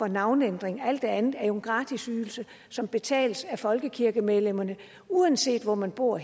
navneændring alt det andet er jo gratis ydelser som betales af folkekirkemedlemmerne uanset hvor man bor